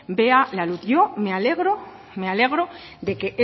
vea la luz yo me alegro de que